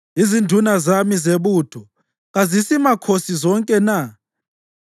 Uthi, ‘Izinduna zami zebutho kazisimakhosi zonke na?